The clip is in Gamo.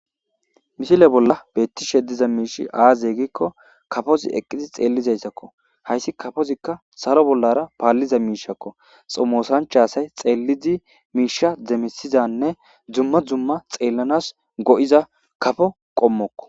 Misile bolla beettishe diza miishi aaze gikko kafozi eqqidi xeellizayssakko hayssi kafozikka salo bollara paalliza miishakko xomosanchaasay xeellidi miisha demisizanne dzumma dzumma xeellanas go'iza kafo qommokko.